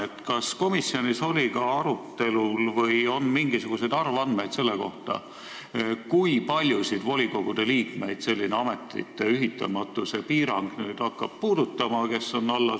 Aga kas komisjonis oli ka arutelul või kas on mingisuguseid arvandmeid selle kohta, kui paljusid volikogude liikmeid, kes on allasutuste juhid jne, selline ametite ühitamatuse piirang hakkab puudutama?